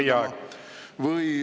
Teie aeg!